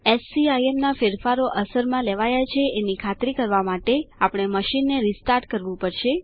એસસીઆઈએમના ફેરફારો અસરમાં લેવાયા છે એની ખાતરી કરવા માટે આપણે મશીનને રીસ્ટાર્ટ કરવું પડશે